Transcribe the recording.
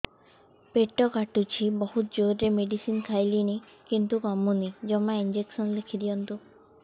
ପେଟ କାଟୁଛି ବହୁତ ଜୋରରେ ମେଡିସିନ ଖାଇଲିଣି କିନ୍ତୁ କମୁନି ଜମା ଇଂଜେକସନ ଲେଖିଦିଅନ୍ତୁ